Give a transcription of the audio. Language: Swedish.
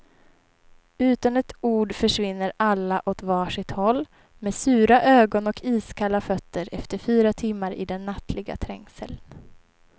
Utan ett ord försvinner alla åt var sitt håll, med sura ögon och iskalla fötter efter fyra timmar i den nattliga trängseln.